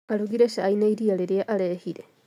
Arugire cai na iria rĩrĩa arehire